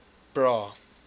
bra